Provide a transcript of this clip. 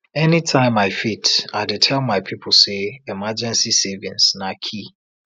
anytime i fit i dey tell my people say emergency savings na key